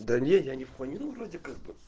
да нет я не планировал вроде как бы